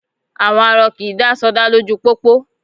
À̀wọn arọ kì í dá sọdá lójú pópó